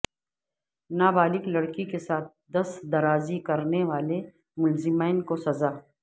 نابالغ لڑکی کے ساتھ دست درازی کرنے والے ملزمین کو سزاء